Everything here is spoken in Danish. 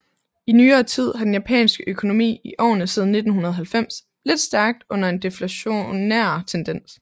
I nyere tid har den japanske økonomi i årene siden 1990 lidt stærkt under en deflationær tendens